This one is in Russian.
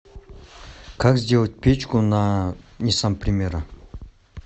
как сделать печку на ниссан примера